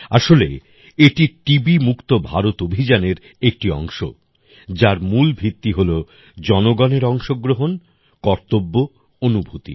আসলে এটি টিবি মুক্ত ভারত অভিযানের একটি অংশ যার মূল ভিত্তি হল জনগণের অংশগ্রহণ কর্তব্য অনুভূতি